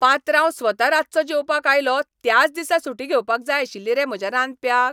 पात्रांव स्वता रातचो जेवपाक आयलो त्याच दिसा सुटी घेवपाक जाय आशिल्ली रे म्हज्या रांदप्याक?